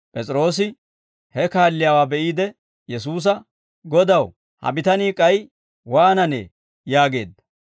P'es'iroose he kaalliyaawaa be'iide Yesuusa, «Godaw, ha bitanii k'ay waananee?» yaageedda.